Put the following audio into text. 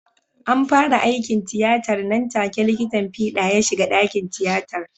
An fara aikin tiyatar nan take likitan fida ya shiga dakin tiyatar.